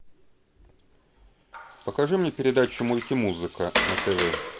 покажи мне передачу мультимузыка на тв